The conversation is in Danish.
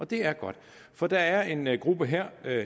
det er godt for der er en gruppe her